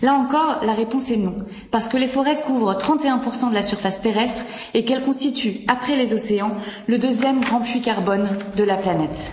Là encore, la réponse est non, parce que les forêts couvrent 31 de la surface terrestre et qu'elles constituent, après les océans, le 2e grand puits carbone de la planète.